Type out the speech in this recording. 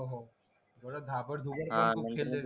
हो हो थोडा घाबर खूप खेळलेल